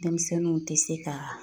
Dɛmisɛnninw te se ka